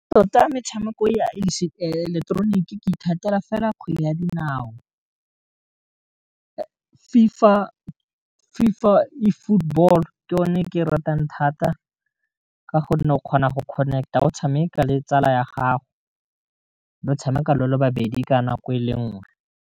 Tota metshameko ya seileketeroniki ke ithatela fela kgwele ya dinao FIFA e football ke one ke ratang thata, ka gonne o kgona go connect-a o tshameka le tsala ya gago, le tshameka le le babedi ka nako e le nngwe.